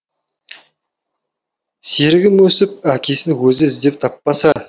серігім өсіп әкесін өзі іздеп таппаса